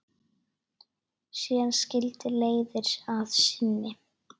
Síðan skildi leiðir að sinni.